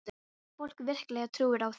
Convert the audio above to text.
Ég meina, fólk virkilega trúir á þig.